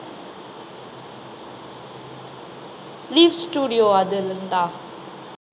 lee studio அதுல இருந்தா